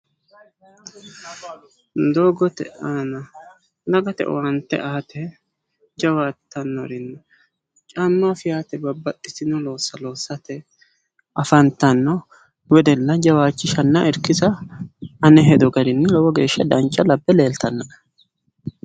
doogote aana dagate owaante aate jawaattannori no caamma feyaate babbaxitino loossa loosate afantanno wedella irkisanna jawaachisha ane hedo garinni lowo geeshsha dancha labbe leeltannoe.